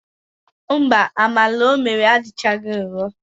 Mba, amala o mere adịchaghị nro.